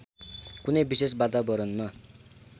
कुनै विशेष वातावरणमा